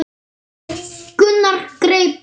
Gunnar greip penna.